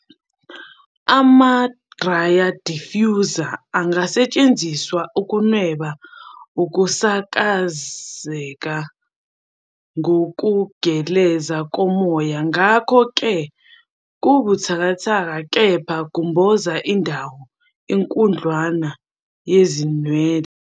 Ama-dryer diffusers angasetshenziswa ukunweba ukusakazeka kokugeleza komoya ngakho-ke kubuthakathaka kepha kumboza indawo enkudlwana yezinwele.